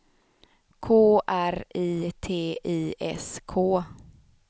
K R I T I S K